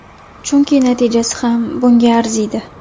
Chunki natijasi ham bunga arziydi.